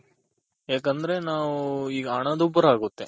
ಯಾಕಂದ್ರೆ ನಾವು ಈ ಹಣ ದುಬ್ಬರ ಆಗುತ್ತೆ.